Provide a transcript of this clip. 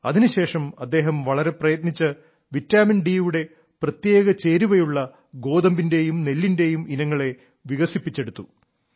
അതിനുശേഷം അദ്ദേഹം വളരെ പ്രയത്നിച്ച് വിറ്റാമിൻഡി യുടെ പ്രത്യേക ചേരുവയുള്ള ഗോതമ്പിന്റെയും നെല്ലിന്റെയും ഇനങ്ങളെ വികസിപ്പിച്ചെടുത്തു